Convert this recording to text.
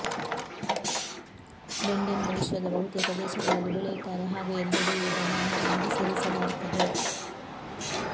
ಬೆಂಡೆಯನ್ನು ವಿಶ್ವದ ಬಹುತೇಕ ದೇಶಗಳಲ್ಲಿ ಬೆಳೆಯುತ್ತಾರೆ ಹಾಗೂ ಎಲ್ಲೆಡೆಯೂ ಇದನ್ನು ಆಹಾರವಾಗಿ ಸೇವಿಸಲಾಗುತ್ತದೆ